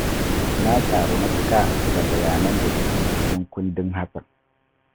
Na ƙaru matuƙa da bayanan da suke cikin kundin Hasssan